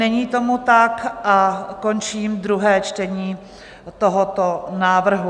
Není tomu tak a končím druhé čtení tohoto návrhu.